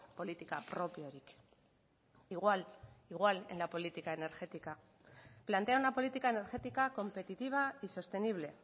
politika propiorik igual igual en la política energética plantea una política energética competitiva y sostenible